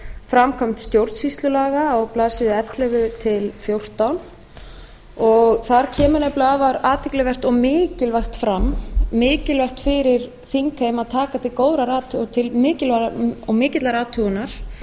framkvæmd stjórnsýslulaga á blaðsíðu ellefu til fjórtán þar kemur nefnilega afar athyglivert og mikilvægt fram mikilvægt fyrir þingheim að taka til mikillar athugunar og